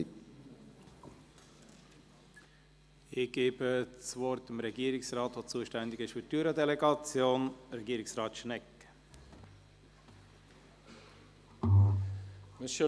Ich gebe nun demjenigen Regierungsrat das Wort, der für die Jura-Delegation zuständig ist.